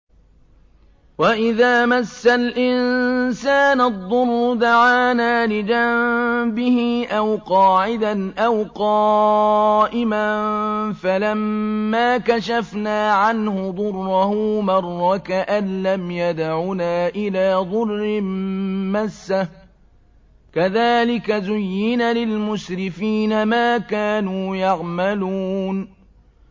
وَإِذَا مَسَّ الْإِنسَانَ الضُّرُّ دَعَانَا لِجَنبِهِ أَوْ قَاعِدًا أَوْ قَائِمًا فَلَمَّا كَشَفْنَا عَنْهُ ضُرَّهُ مَرَّ كَأَن لَّمْ يَدْعُنَا إِلَىٰ ضُرٍّ مَّسَّهُ ۚ كَذَٰلِكَ زُيِّنَ لِلْمُسْرِفِينَ مَا كَانُوا يَعْمَلُونَ